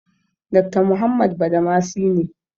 Dakta Muhammad Badamasi ne.